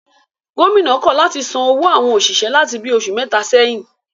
Gómìnà náà kọ̀ láti san owó àwọn òṣìṣẹ́ láti bi oṣù mẹ́ta sẹ́yìn